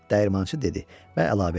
Dəyirmançı dedi və əlavə etdi.